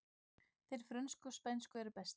Þeir frönsku og spænsku eru bestir